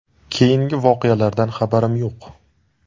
Keyingi voqealardan xabarim yo‘q.